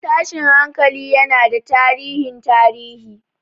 Tashin hankali yana da tarihin tarihi.